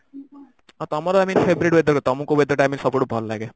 ହଁ ତମର I mean favourite weather ତମକୁ weather ସବୁଠୁ ଭଲ ଲାଗେ